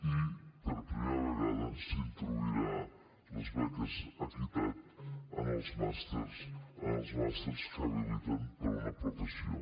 i per primera vegada s’introduiran les beques equitat en els màsters que habiliten per a una professió